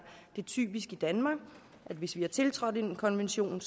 det typisk i danmark hvis vi har tiltrådt en konvention